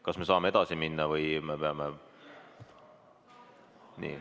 Kas me saame edasi minna või me peame ...